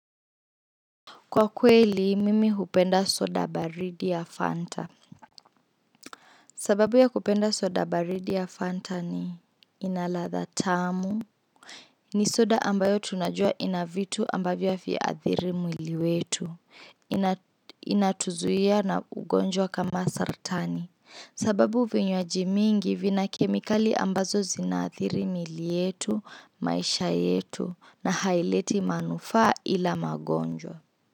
Kwa kweli, mimi hupenda soda baridi ya Fanta. Sababu ya kupenda soda baridi ya Fanta ni ina ladha tamu. Ni soda ambayo tunajua ina vitu ambavyo haviathiri mwili wetu. Inatuzuia na ugonjwa kama saratani. Sababu vinywaji mingi vina kemikali ambazo zinaathiri miili yetu, maisha yetu, na haileti manufaa ila magonjwa.